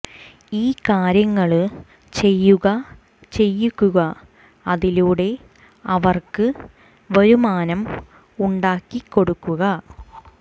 ഈ കാര്യങ്ങള് ചെയ്യുക ചെയ്യിക്കുക അതിലൂടെ അവര്ക്ക് വരുമാനം ഉണ്ടാക്കി കൊടുക്കുക